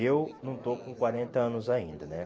Eu não estou com quarenta anos ainda, né?